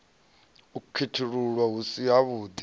u khethululwa hu si havhuḓi